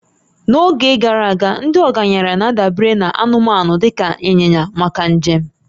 n'oge gara aga, ndị ọgaranya na-adabere na anụmanụ dị ka ịnyịnya maka njem